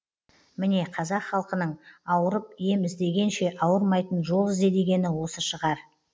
міне қазақ халқының ауырып ем іздегенше ауырмайтын жол ізде дегені осы шығар